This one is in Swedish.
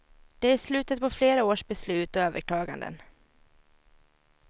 Det är slutet på flera års beslut och överklaganden.